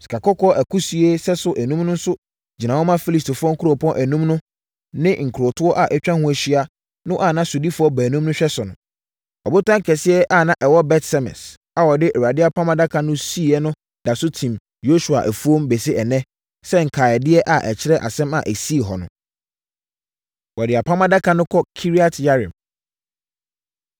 Sikakɔkɔɔ akusie sɛso enum no nso gyina hɔ ma Filistifoɔ nkuropɔn enum no ne nkurotoɔ a atwa ho ahyia no a na sodifoɔ baanum no hwɛ so no. Ɔbotan kɛseɛ a na ɛwɔ Bet-Semes a wɔde Awurade Apam Adaka no siiɛ no nso da so tim Yosua afuom bɛsi ɛnnɛ sɛ nkaedeɛ a ɛkyerɛ asɛm a ɛsii hɔ no. Wɔde Apam Adaka No Kɔ Kiriat-Yearim